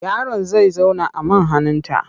Yaron za zauna a man hannunta.